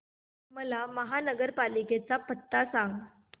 मला महापालिकेचा पत्ता सांग